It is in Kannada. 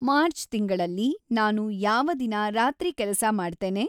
ಮಾರ್ಚ್ ತಿಂಗಳಲ್ಲಿ ನಾನು ಯಾವ ದಿನ ರಾತ್ರಿ ಕೆಲಸ ಮಾಡ್ತೇನೆ